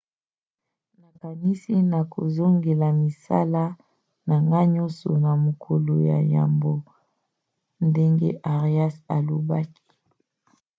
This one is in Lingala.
nakanisi nakozongela misala na ngai nyonso na mokolo ya yambo, ndenge arias alobaki